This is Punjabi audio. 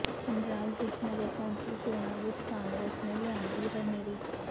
ਪੰਜਾਬ ਵਿਚ ਨਗਰ ਕੌਂਸਲ ਚੋਣਾਂ ਵਿਚ ਕਾਂਗਰਸ ਨੇ ਲਿਆਂਦੀ ਹਨੇਰੀ